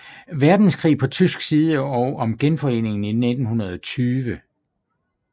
Verdenskrig på tysk side og om Genforeningen i 1920